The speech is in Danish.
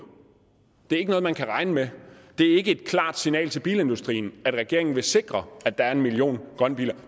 det er ikke noget man kan regne med det er ikke et klart signal til bilindustrien at regeringen vil sikre at der er en million grønne biler